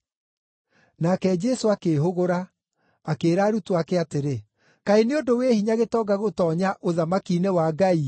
Nake Jesũ akĩĩhũgũra, akĩĩra arutwo ake atĩrĩ, “Kaĩ nĩ ũndũ wĩ hinya gĩtonga gũtoonya ũthamaki-inĩ wa Ngai-ĩ!”